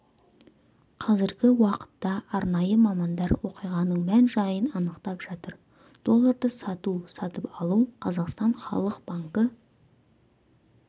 қазіргі уақытта арнайы мамандар оқиғаның мән-жайын анықтап жатыр долларды сату сатып алу қазақстан халық банкі